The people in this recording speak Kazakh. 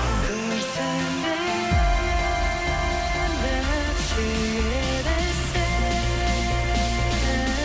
күрсінбе енді сүйеді сені